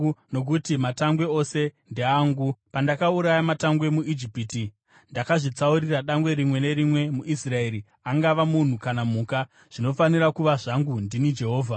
nokuti matangwe ose ndeangu. Pandakauraya matangwe muIjipiti, ndakazvitsaurira dangwe rimwe nerimwe muIsraeri, angava munhu kana mhuka. Zvinofanira kuva zvangu. Ndini Jehovha.”